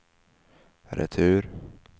retur